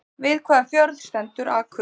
Við hvaða fjörð stendur Akurey?